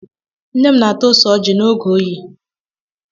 Nne m na-ata ose ọjị n'oge oyi.